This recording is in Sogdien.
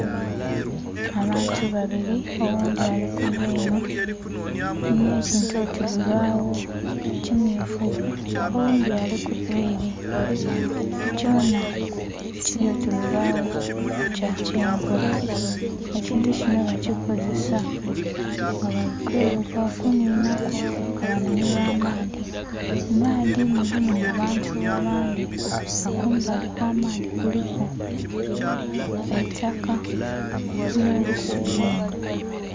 Abantu babiri oghundhi alikuva enho nh'ekintu oti lubagho kimmyufu, oghundhi alikuva ere kyonha kiryoti lubagho kyakyenvu, ekintu kinho bakikozesa nga balikwevuga bakinhinhamu kebanhumirwa amaadhi. Mumaadhi mulimu abantu abandhi nga kumbali okw'amaadhi kiriku eitaka nh'obusubi enho.